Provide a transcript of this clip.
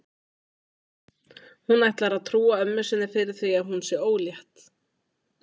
Hún ætlar að trúa ömmu sinni fyrir því núna að hún sé ólétt.